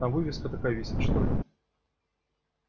там вывеска такая висит что ли